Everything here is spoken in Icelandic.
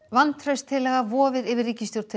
vantrauststillaga vofir yfir ríkisstjórn